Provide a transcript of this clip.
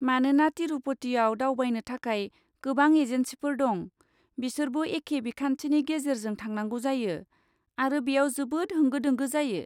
मानोना तिरुपतिआव दावबायनो थाखाय गोबां एजेन्सिफोर दं, बिसोरबो एखे बिखान्थिनि गेजेरजों थांनांगौ जायो, आरो बेयाव जोबोद होंगो दोंगो जायो।